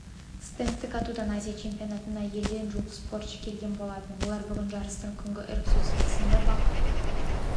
стендтік атудан азия чемпионатына елден жуық спортшы келген болатын олар бүгін жарыстың күнгі іріктеу сатысында бақ